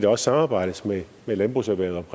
også samarbejdes med landbrugserhvervet